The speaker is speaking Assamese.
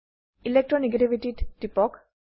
electro নেগেটিভিটি ত টিপক